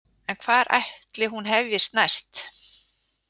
En hvar ætli hún hefjist næst?